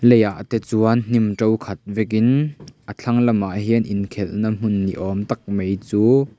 lei ah te chuan hnim to khat vekin a thlang lamah chuan hian inkhelh na hmun ni awm tak mai ch--